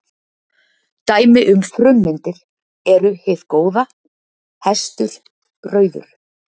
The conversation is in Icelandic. Dæmi um frummyndir eru hið góða, hestur, rauður.